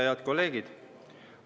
Head kolleegid!